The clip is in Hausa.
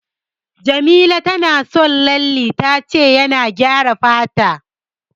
Jamila tana son lalle, ta ce yana gyara fata.